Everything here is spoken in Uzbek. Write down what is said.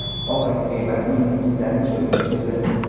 Oxirgi g‘iybat uning muxlislarini shokka tushirdi.